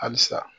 Halisa